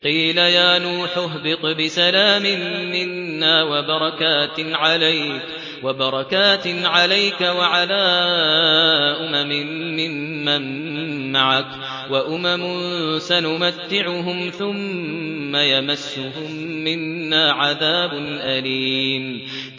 قِيلَ يَا نُوحُ اهْبِطْ بِسَلَامٍ مِّنَّا وَبَرَكَاتٍ عَلَيْكَ وَعَلَىٰ أُمَمٍ مِّمَّن مَّعَكَ ۚ وَأُمَمٌ سَنُمَتِّعُهُمْ ثُمَّ يَمَسُّهُم مِّنَّا عَذَابٌ أَلِيمٌ